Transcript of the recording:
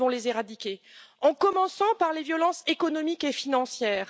Nous devons les éradiquer, en commençant par les violences économiques et financières.